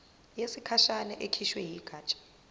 yesikhashana ekhishwe yigatsha